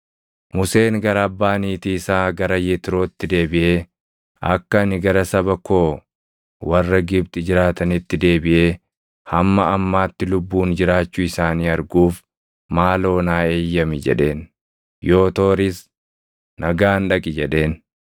Museen gara abbaa niitii isaa gara Yetrootti deebiʼee, “Akka ani gara saba koo warra Gibxi jiraatanitti deebiʼee hamma ammaatti lubbuun jiraachuu isaanii arguuf maaloo naa eeyyami” jedheen. Yootooris, “Nagaan dhaqi” jedheen.